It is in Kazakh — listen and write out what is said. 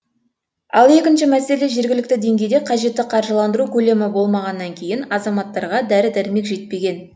ал екінші мәселе жергілікті деңгейде қажетті қаржыландыру көлемі болмағаннан кейін азаматтарға дәрі дәрмек жетпеген